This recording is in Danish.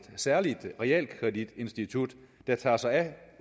særligt realkreditinstitut der tager sig af